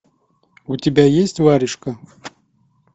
у тебя есть варежка